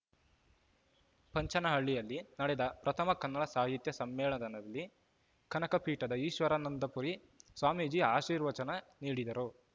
ಪಂಚನಹಳ್ಳಿಯಲ್ಲಿ ನಡೆದ ಪ್ರಥಮ ಕನ್ನಡ ಸಾಹಿತ್ಯ ಸಮ್ಮೇಳನದಲ್ಲಿ ಕನಕ ಪೀಠದ ಈಶ್ವರಾನಂದಪುರಿ ಸ್ವಾಮೀಜಿ ಆಶೀರ್ವಚನ ನೀಡಿದರು